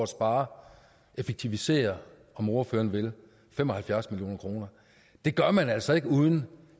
spare effektivisere om ordføreren vil fem og halvfjerds million kroner det gør man altså ikke uden